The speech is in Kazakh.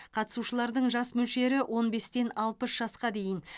қатысушылардың жас мөлшері он бестен алпыс жасқа дейін